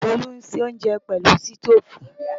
Tolú ń ṣe oúnjẹ pẹ̀lú sítóòfù